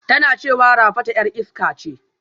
Tana cewa Rafatu 'yar iska ce